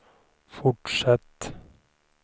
fortsätt